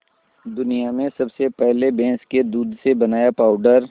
दुनिया में सबसे पहले भैंस के दूध से बनाया पावडर